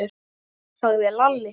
sagði Lalli.